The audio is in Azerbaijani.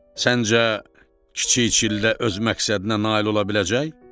Səncə, kiçik çillə öz məqsədinə nail ola biləcək?